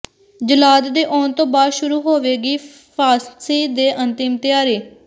ਜੱਲਾਦ ਦੇ ਆਉਣ ਤੋਂ ਬਾਅਦ ਸ਼ੁਰੂ ਹੋਵੇਗੀ ਫਾਂਸੀ ਦੀ ਅੰਤਿਮ ਤਿਆਰੀ